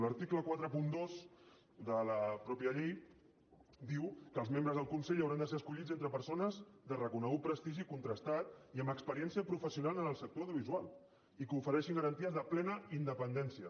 l’article quaranta dos de la mateixa llei diu que els membres del consell hauran de ser escollits entre persones de reconegut prestigi contrastat i amb experiència professional en el sector audiovisual i que ofereixin garanties de plena independència